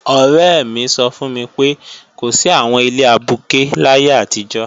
Ọ̀rẹ́ mi sọ fún mi pé, kò sí àwọn ilé abuké láyé àtijọ́